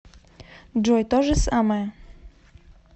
джой то же самое